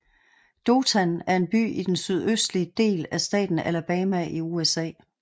Dothan er en by i den sydøstlige del af staten Alabama i USA